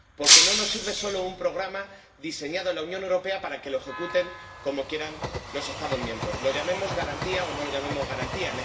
porque no nos sirve solo un programa diseñado en la Unión Europea para que lo ejecuten como quieran los Estados miembros —lo llamemos garantía o no lo llamemos garantía—.